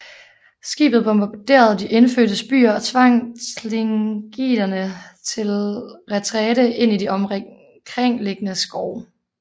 Skibet bombarderede de indfødtes byer og tvang tlingiterne til retræte ind i de omkringliggende skove